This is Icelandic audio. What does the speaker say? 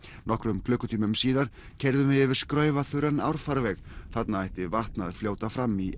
nokkrum klukkutímum síðar keyrðum við yfir árfarveg þarna ætti vatn að fljóta fram í